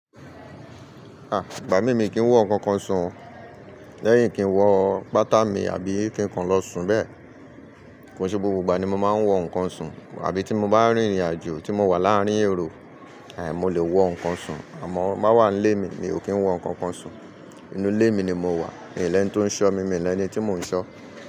A! Ìgbà mí mí kì n wo nkankan sùn, lẹ́yìn kì n wo pátámì àbí ki n kan lọ sùn bẹ́ẹ̀. Kii se gbogbo ìgbà ni mo máa n wo nkankan sùn àbí tí mo bá rìn ìrìnàjò tí mo wà láàárín èrò, àì mo lè wo nkan sùn. Àmọ má wà nílé mi mi ò kí n wo nkankan sùn. Inú ilé mi ni mo wà, míò ní ẹni tó ń ṣọ́ mi, míò ní ẹni tí mò ń ṣọ́.